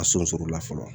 A sɔn sɔrɔla fɔlɔ